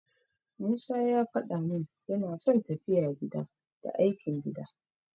Musa ya faɗa min yana son tafiya gida, da aikin gida.